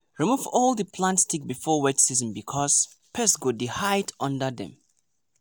remove all di plant stick before wet season because pest go dey hide under dem.